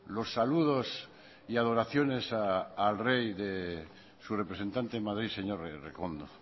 los saludos y adoraciones al rey de su representante en madrid señor errekondo